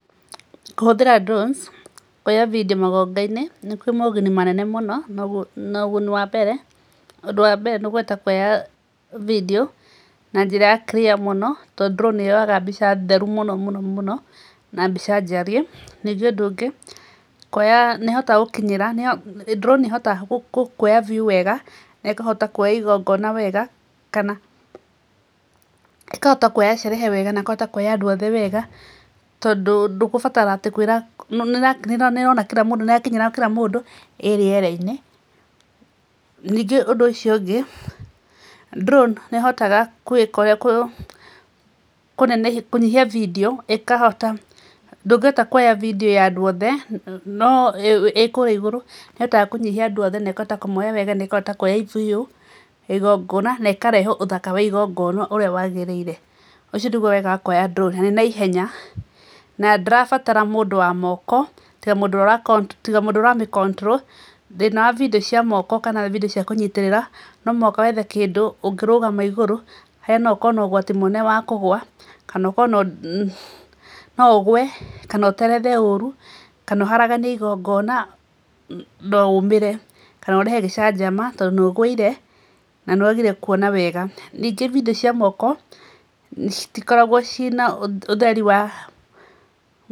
Kũhũthĩra drones kũoya video magongona-inĩ kwĩ maũguni manene mũno. Na ũguni wa mbere, ũndũ wa mbere nĩ kũhota kũoya video na njĩra ya clear mũno tondũ drone nĩ yoyaga mbica theru mũno mũno mũno na mbica njarie. Ningĩ ũndũ ũngĩ, kũoya, nĩ ĩhotaga gũkinyĩra, nĩ drone nĩ ĩhotaga kũoya view wega na ĩkahota kũoya igongona wega kana ikahota kũoya sherehe wega, na ĩkahota kũoya andũ othe wega, tondũ ndũkũbatara atĩ kũĩra, nĩ ĩrona kila mũndũ, nĩ ĩrakinyĩra kila mũndũ ĩ rĩera-inĩ. Ningĩ ũndũ ũcio ũngĩ, drone nĩ ĩhotaga kwĩka ũrĩa, kũnenehia kũnyihia video ĩkahota, ndũngĩhota kũoya video ya andũ othe no ĩ kũrĩa igũrũ, nĩ ĩhotaga kũnyihia andũ othe na ĩkahota kũmaoya wega, na ĩkahota kũoya view ya igongoona, na ĩkahrehe ũthaka wa igongoona ũrĩa waagĩrĩire. Ũcio nĩguo wega wa kũoya drone. Na nĩ naihenya. Na ndirabatara mũndũ wa moko tiga mũndũ ũrĩa, tiga mũndũ ũrĩa ũramĩcontrol. Thĩna wa video cia moko kana video cia kũnyitĩrĩra, no mũhaka wethe kindũ ũngĩrũgama igũrũ harĩa no ũkorwo na ũgwati mũnene wa kũgũa, kana ũkorwo no no ũgũe, kana ũterethe ũru, kana ũraharaganie igongoona, na uumĩre, kana ũrehe gĩcanjama tondũ nĩ ũgũire, na nĩ wagire kũona wega. Ningĩ video cia moko citikoragwo ciĩna utheri, ũtheri wa-